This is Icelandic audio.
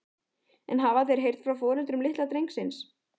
En hafa þeir heyrt frá foreldrum litla drengsins?